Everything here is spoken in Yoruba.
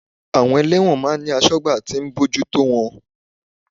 Àwọn Ẹlẹ́wọ̀n máa ń ní asọ́gbà tí ń bójú tó wọn